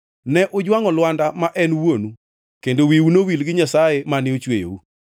Ne ujwangʼo lwanda ma en wuonu, kendo wiu nowil gi Nyasaye mane ochweyou.